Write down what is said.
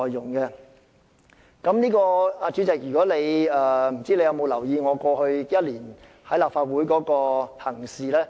我不知道主席有否留意我過去1年在立法會內的行事呢？